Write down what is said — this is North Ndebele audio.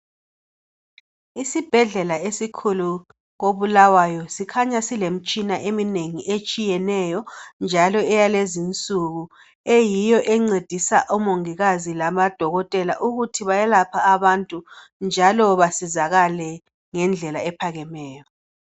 Isibhedlela esikhulu esakoBulawayo, sikhanya silemtshina etshiyeneyo njalo eyalezinsuku. Eyiyo encedisa omongokazi lamadokotela ukuthi bayelaphe abantu njalo basizakale ngendlela ephakemeyo.